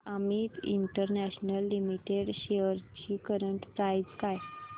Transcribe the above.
Amit international limited shares ची current price काय आहे